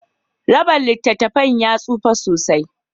raban littattafan ya tsufa sosai.